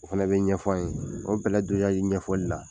O fana bɛ ɲɛf'an ye o bɛlɛ dosaji ɲɛfɔli la